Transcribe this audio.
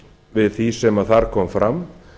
við það sem þar kom fram